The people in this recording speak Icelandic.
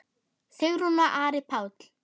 Sigrún og Ari Páll.